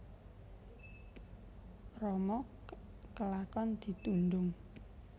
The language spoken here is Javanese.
Rama kelakon ditundhung